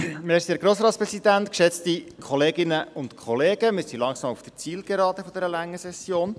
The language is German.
Wir befinden uns langsam auf der Zielgeraden dieser langen Session.